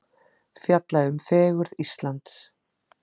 Fjalla um fegurð Íslands